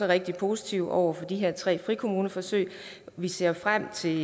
rigtig positive over for de her tre frikommuneforsøg og vi ser frem til